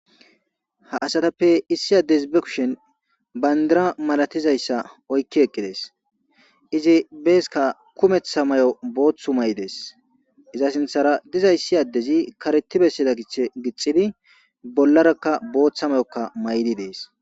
Ha asatappe issi addesi ba kushin bayndira malatiza issa oykki eqqi dees. Izi beeska kumeththa mayo booththa mayo dees. Iza sinthara diza issi addezi kareti bessida gich gixidi bollarakka booththa mayokka mayidi dees.